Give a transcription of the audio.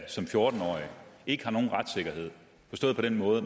som fjorten årige ikke har nogen retssikkerhed forstået på den måde at